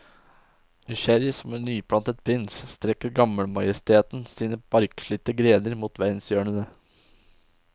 Nysgjerrig som en nyplantet prins strekker gammelmajesteten sine barkslitte grener mot verdenshjørnene.